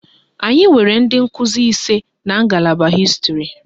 Anyị nwere ndị nkụzi ise n'a ngalaba hịstịrị